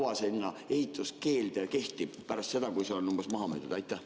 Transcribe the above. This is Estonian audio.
Kui kaua sinna ehitamise keeld kehtib pärast seda, kui see on maha müüdud?